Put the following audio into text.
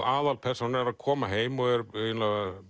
aðalpersónan er að koma heim og er eiginlega